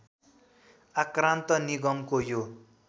आक्रान्त निगमको यो